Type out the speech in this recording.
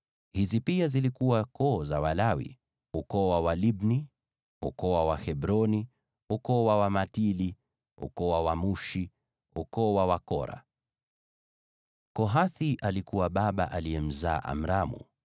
Hizi pia zilikuwa koo za Walawi: ukoo wa Walibni; ukoo wa Wahebroni; ukoo wa Wamahli; ukoo wa Wamushi; ukoo wa wana wa Kora. (Kohathi alikuwa baba aliyemzaa Amramu;